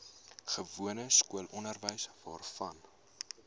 gewone skoolonderwys waarvan